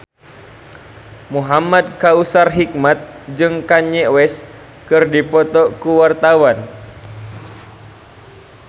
Muhamad Kautsar Hikmat jeung Kanye West keur dipoto ku wartawan